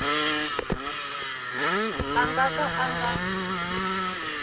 a nga ka a nga